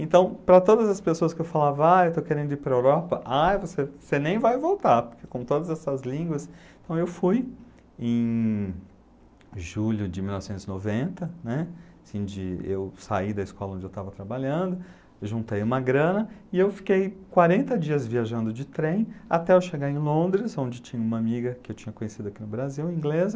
Então, para todas as pessoas que eu falava, ah, eu estou querendo ir para a Europa, ai, você você nem vai voltar, porque com todas essas línguas... Então, eu fui em julho de mil novecentos e noventa, né, eu saí da escola onde eu estava trabalhando, juntei uma grana e eu fiquei quarenta dias viajando de trem até eu chegar em Londres, onde tinha uma amiga que eu tinha conhecido aqui no Brasil, inglesa,